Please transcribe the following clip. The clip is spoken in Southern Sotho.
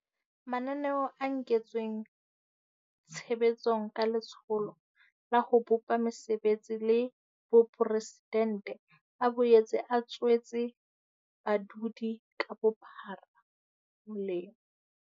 Mananeo a kentsweng tshe betsong ka Letsholo la ho Bopa Mesebetsi la Boporesidente a boetse a tswetse badudi ka bophara molemo.